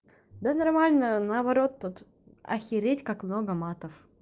да нормально наоборот тут охереть как много матов